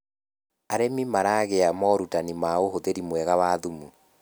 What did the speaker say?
arĩmi maragia morutanĩ ma uhuthiri mwega wa thumu